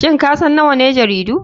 Shin kasan nawane jaridu?